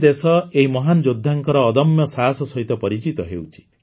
ଆଜି ଦେଶ ଏହି ମହାନ୍ ଯୋଦ୍ଧାଙ୍କର ଅଦମ୍ୟ ସାହସ ସହିତ ପରିଚିତ ହେଉଛି